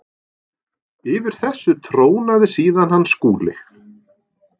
Yfir þessu trónaði síðan hann Skúli.